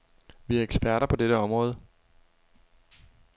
Vi er eksperter på dette område.